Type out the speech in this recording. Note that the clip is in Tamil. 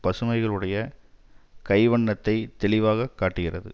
பசுமைகளுடைய கை வண்ணத்தைத் தெளிவாக காட்டுகிறது